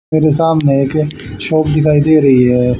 मेरे सामने एक शॉप दिखाई दे रही है।